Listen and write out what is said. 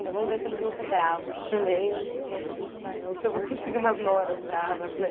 Então vamos ver se eles vão ser bravos também, ou como é que a gente vai, ou se eu vou conseguir umas noras bravas, né?